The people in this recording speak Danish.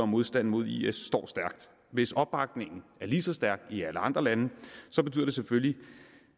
modstanden mod is står stærkt hvis opbakningen er lige så stærk i alle andre lande